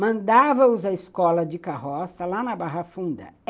mandava-os à escola de carroça, lá na Barra Funda.